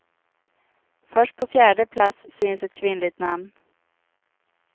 Först på fjärde plats syns ett kvinnligt namn.